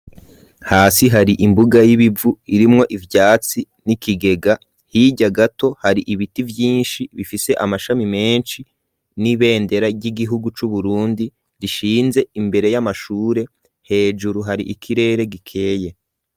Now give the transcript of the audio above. Hasi hari imbuga y'ibivu irimwo ivyatsi n'ikigega hirya gato hari ibiti vyishi bifise amashami meshi n'ibendera ry'igihugu cu Burundi gishinze imbere y'amashure hejuru hari ikirere gikeye.